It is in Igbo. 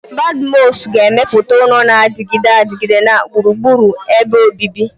Badmus ga-emepụta ụlọ na-adịgide adịgide na gburugburu ebe obibi.